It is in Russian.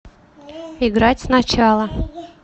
играть сначала